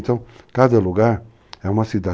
Então, cada lugar é uma cidade.